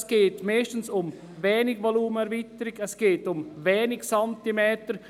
Es geht meist nur um kleine Erweiterungen des Volumens, nur um wenige Zentimeter.